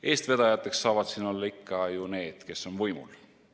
Eestvedajateks saavad siin olla ikka need, kes on võimul.